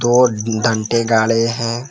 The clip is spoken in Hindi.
और डंटे गड़े हैं।